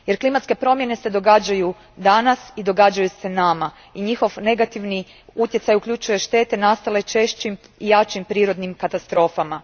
Jer klimatske se promjene događaju danas, događaju se nama i njihov negativni utjecaj uključuje štete nastale češćim i jačim prirodnim katastrofama.